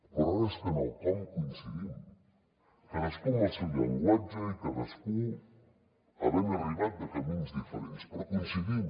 però ara és que en el com hi coincidim cadascú amb el seu llenguatge i cadascú havent arribat de camins diferents però hi coincidim